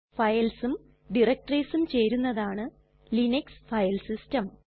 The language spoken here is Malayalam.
Filesഉം directoriesഉം ചേരുന്നതാണ് ലിനക്സ് ഫൈൽ സിസ്റ്റം